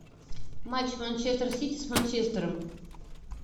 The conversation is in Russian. матч манчестер сити с манчестером